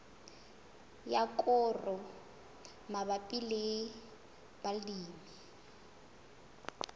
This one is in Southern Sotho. ya koro mabapi le balemi